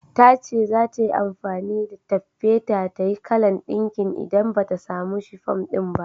Tace zata yi amfani da taffeta tayi kalan ɗinkin idan bata samu shifum ɗin ba.